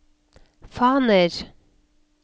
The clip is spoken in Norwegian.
faner